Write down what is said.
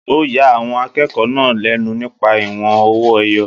O ya àwọn akẹ́kọ̀ọ́ náà lẹnu nípa ìwọ̀n owó ẹyọ.